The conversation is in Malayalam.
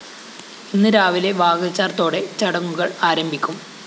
ഇന്ന് രാവിലെ വാകചാര്‍ത്തോടെ ചടങ്ങുകള്‍ ആരംഭിക്കും